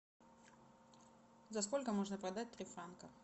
за сколько можно продать три франка